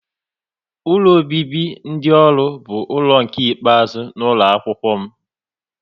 Ụlọ obibi dị ọrụ bụ ụlọ nke ikpeazụ n'ụlọ akwụkwọ m